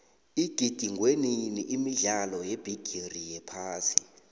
igidingwenini imidlalo yebigiri yephasi